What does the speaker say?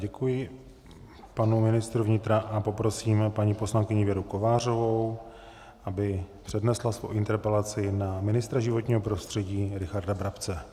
Děkuji panu ministru vnitra a poprosíme paní poslankyni Věru Kovářovou, aby přednesla svou interpelaci na ministra životního prostředí Richarda Brabce.